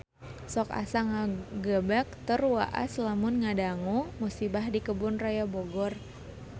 Sok asa ngagebeg tur waas lamun ngadangu musibah di Kebun Raya Bogor